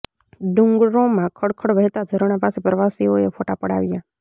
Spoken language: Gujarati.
ડુંગરોમાં ખળખળ વહેતા ઝરણા પાસે પ્રવાસીઓએ ફોટા પડાવ્યા